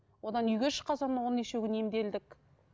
одан үйге шыққан соң оған неше күн емделдік